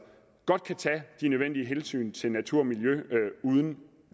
godt kan tage de nødvendige hensyn til natur og miljø uden